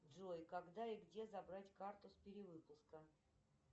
джой когда и где забрать карту с перевыпуска